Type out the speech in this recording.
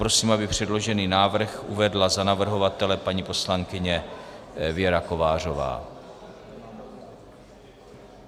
Prosím, aby předložený návrh uvedla za navrhovatele paní poslankyně Věra Kovářová.